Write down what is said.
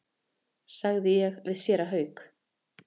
sagði ég við séra Hauk.